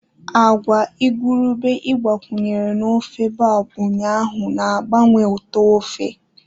Agwa igurube ị gbakwunyere na ofe boab ụnyaahụ na-agbanwe ụtọ ofe